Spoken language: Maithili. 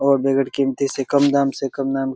और बेगर कीमती से कम दाम से कम दाम--